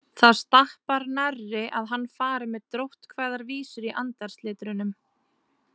Það stappar nærri að hann fari með dróttkvæðar vísur í andarslitrunum.